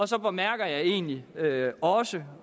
så bemærker jeg egentlig også